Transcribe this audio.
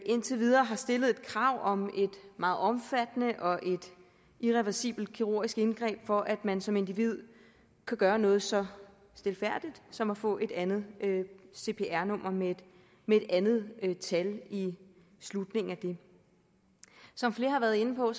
indtil videre har stillet et krav om et meget omfattende og irreversibelt kirurgisk indgreb for at man som individ kan gøre noget så stilfærdigt som at få et andet cpr nummer med et andet tal i slutningen af det som flere har været inde på